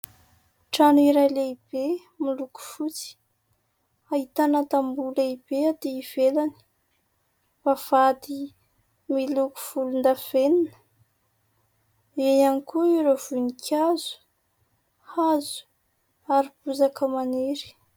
Trano iray lehibe, miloko fotsy, ahitana tamboho lehibe aty ivelany, vavahady miloko volon-davenona, eo ihany koa ireo voninkazo, hazo ary bozaka maniry.